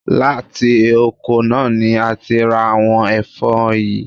Láti oko náà ni a ti ń ra àwon ẹ̀fọ́ yìí.